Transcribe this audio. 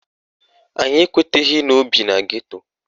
Anyị ekweteghi na ọ bi na geto